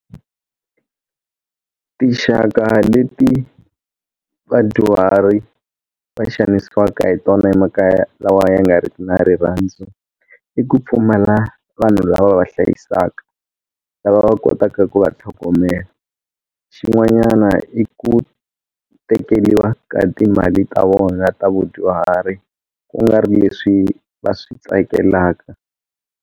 Tinxaka leti vadyuhari va xanisiwaka hi tona emakaya lawa ya nga ri ki na rirhandzu i ku pfumala vanhu lava va va hlayisaka lava va kotaka ku va tlhogomela xin'wanyana i ku tekeriwa ka timali ta vona ta vadyuhari ku nga ri leswi va swi tsakelaka.